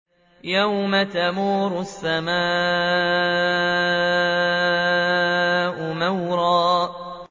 يَوْمَ تَمُورُ السَّمَاءُ مَوْرًا